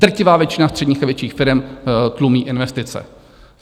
Drtivá většina středních a větších firem tlumí investice.